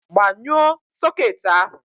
Gbanyuo soket ahụ!